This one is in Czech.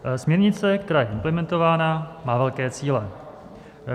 Směrnice, která je implementována, má velké cíle.